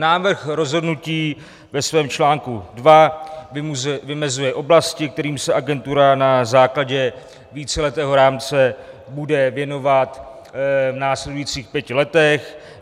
Návrh rozhodnutí ve svém článku 2 vymezuje oblasti, kterým se agentura na základě víceletého rámce bude věnovat v následujících pěti letech.